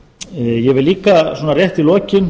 ég vil líka svona rétt í lokin